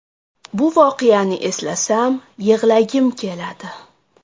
Bu voqeani eslasam, yig‘lagim keladi.